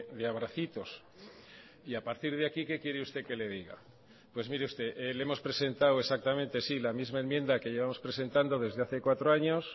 de abracitos y a partir de aquí qué quiere usted que le diga pues mire usted le hemos presentado exactamente sí la misma enmienda que llevamos presentando desde hace cuatro años